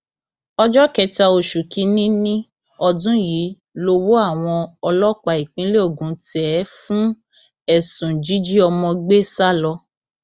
ọjọ kẹta oṣù kìnínní ọdún yìí lowó àwọn ọlọpàá ìpínlẹ ogun tẹ ẹ fún ẹsùn jíjí ọmọ gbé sá lọ